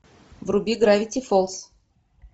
вруби гравити фолз